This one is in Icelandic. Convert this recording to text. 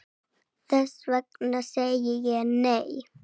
Þess vegna segi ég, nei!